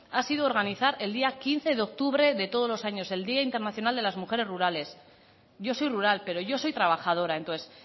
ha sido organizar el día quince de octubre de todos los años el día internacional de las mujeres rurales yo soy rural pero yo soy trabajadora entonces